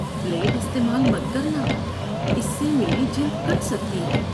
Blade استعمال مت کرنا۔ اس سے میری جلد کٹ سکتی ہے۔